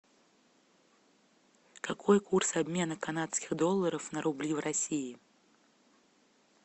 какой курс обмена канадских долларов на рубли в россии